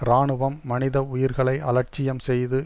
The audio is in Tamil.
இராணுவம் மனித உயிர்களை அலட்சியம் செய்து